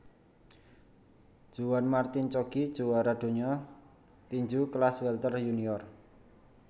Juan Martin Coggi juwara donya tinju kelas welter yunior